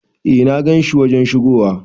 Eh na gan shi wajen shigowa.